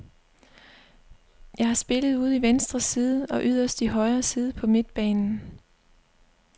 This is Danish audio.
Jeg har spillet ude i venstre side og yderst i højre side på midtbanen.